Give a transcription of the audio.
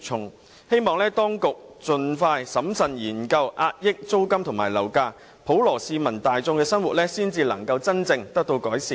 我希望當局盡快審慎研究遏抑租金和樓價，讓普羅大眾的生活真正得以改善。